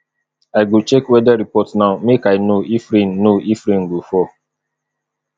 i go check weather report now make i know if rain know if rain go fall